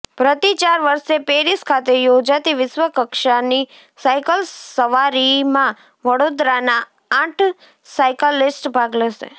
પ્રતિ ચાર વર્ષે પેરિસ ખાતે યોજાતી વિશ્વકક્ષાની સાયકલ સવારીમાં વડોદરાના આઠ સાયક્લિસ્ટ ભાગ લેશે